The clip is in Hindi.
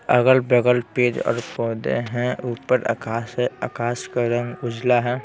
अगल-बगल पेज और पौधे हैं ऊपर आकाश हैं आकाश का रंग उजला हैं ।